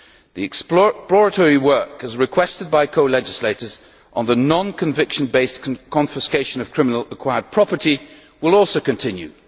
The exploratory work, as requested by co legislators, on the non conviction based confiscation of criminally acquired property, will also continue.